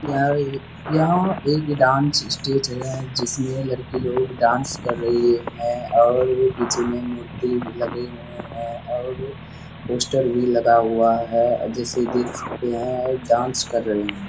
किनारे यह एक डांस स्टेज है जिसमें लड़की लोग डांस कर रही है और भी पीछे में मूर्ति लगे हुए हैं और पोस्टर भी लगा हुआ है जैसे देख सकते हैं डांस कर रही है।